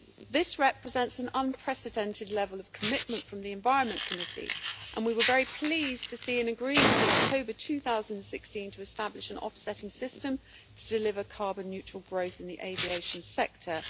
This represents an unprecedented level of commitment from the Committee on the Environment, Public Health and Food Safety and we were very pleased to see an agreement in October 2016 to establish an offsetting system to deliver carbon neutral growth in the aviation sector.